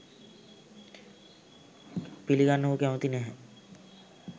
පිළිගන්න ඔහු කැමති නැහැ